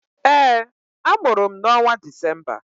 Ee, a mụrụ m n'ọnwa Disemba